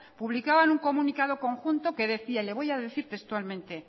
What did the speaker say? publicaban un comunicado conjunto que decía le voy a decir textualmente